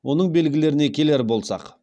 оның белгілеріне келер болсақ